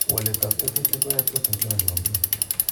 waletab tekutik koyie proteins chemomi komie.